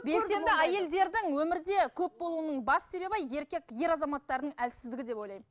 белсенді әйелдердің өмірде көп болуының басты себебі еркек ер азаматтардың әлсіздігі деп ойлаймын